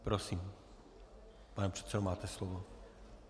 Prosím, pane předsedo, máte slovo.